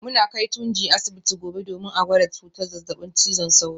Muna kai Tunji asibiti gobe domin a gwada cutar zazzabin cizon sauro